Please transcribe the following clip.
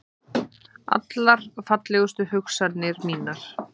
Allar fallegustu hugsanir mínar.